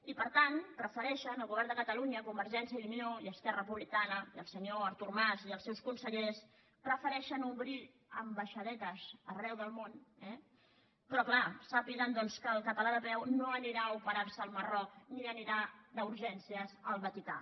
i per tant prefereixen el govern de catalunya convergència i unió i esquerra republicana i el senyor artur mas i els seus consellers prefereixen obrir ambaixadetes arreu del món eh però clar sàpiguen doncs que el català de peu no anirà a operar se al marroc ni anirà d’urgències al vaticà